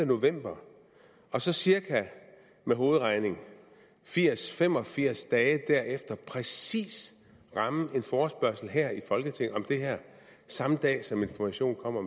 november og så cirka med hovedregning firs til fem og firs dage derefter præcis ramme en forespørgsel her i folketinget om det her samme dag som information kommer